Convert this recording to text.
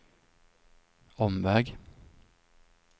omväg